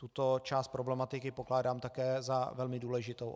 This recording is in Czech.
Tuto část problematiky pokládám také za velmi důležitou.